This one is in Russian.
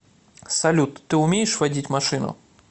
салют ты умеешь водить машину